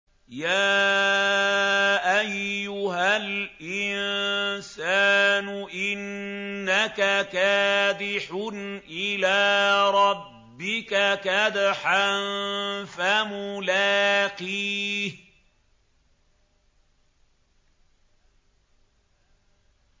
يَا أَيُّهَا الْإِنسَانُ إِنَّكَ كَادِحٌ إِلَىٰ رَبِّكَ كَدْحًا فَمُلَاقِيهِ